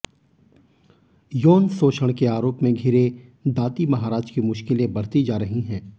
यौन शोषण के आरोप में घिरे दाती महाराज की मुश्किलें बढ़ती जा रही हैं